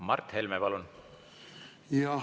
Mart Helme, palun!